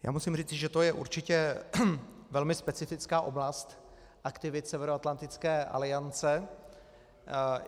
Já musím říci, že to je určitě velmi specifická oblast aktivit Severoatlantické aliance.